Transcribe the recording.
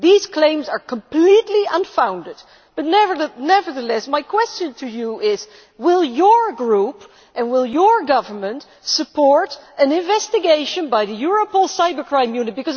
These claims are completely unfounded, but nevertheless, my question to you is, will your group and your government support an investigation by the Europol Cybercrime Unit?